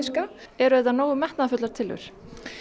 eru þetta nógu metnaðarfullar tillögur